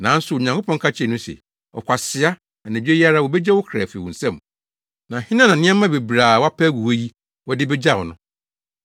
“Nanso Onyankopɔn ka kyerɛɛ no se, ‘Ɔkwasea! Anadwo yi ara wobegye wo kra afi wo nsam, na hena na nneɛma bebree a woapɛ agu hɔ yi, wode begyaw no?’